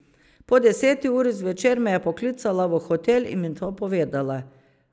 Po deseti uri zvečer me je poklicala v hotel in mi to povedala.